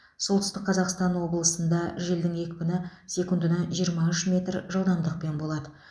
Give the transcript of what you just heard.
солтүстік қазақстан облысында желдің екпіні секундын жиырма үш метр жылдамдықпен болады